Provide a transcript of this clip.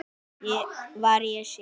var á seyði.